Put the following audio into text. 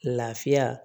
Lafiya